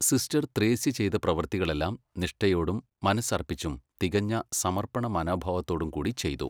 Sister Thresia ചെയ്ത പ്രവർത്തികളെല്ലാം നിഷ്ഠയോടും മനസ്സർപ്പിച്ചും തികഞ്ഞ സമർപ്പണ മനോഭാവത്തോടും കൂടി ചെയ്തു.